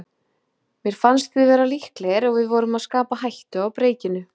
Mér fannst við vera líklegir og við vorum að skapa hættu á breikinu.